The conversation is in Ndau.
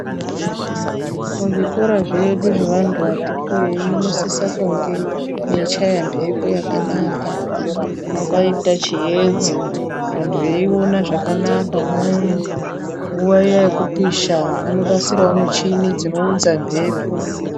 Muzvikora zvedu zvevantu vati kurei munosisa kunge meichaya mhepo yakanaka makaita chiyedza vantu veiona zvakanaka imwomwo nguwa iya yekupisha anokasirawo michina iya dzinounza mhepo.